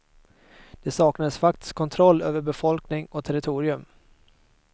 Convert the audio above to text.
Det saknades faktisk kontroll över befolkning och territorium.